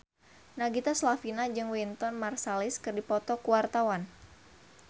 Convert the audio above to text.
Nagita Slavina jeung Wynton Marsalis keur dipoto ku wartawan